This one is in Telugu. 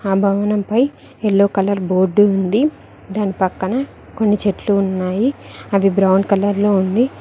ఆ భవనం పై ఎల్లో కలర్ బోర్డు ఉంది దాని పక్కన కొన్ని చెట్లు ఉన్నాయి అది బ్రౌన్ కలర్ లో ఉంది.